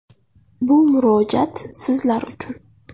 Bu murojaat sizlar uchun.